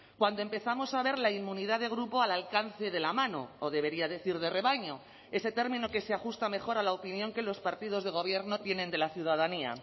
cuando empezamos a ver la inmunidad de grupo al alcance de la mano o debería decir de rebaño ese término que se ajusta mejor a la opinión que los partidos de gobierno tienen de la ciudadanía